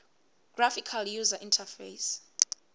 graphical user interface